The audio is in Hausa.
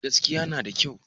Gaskiya na da kyau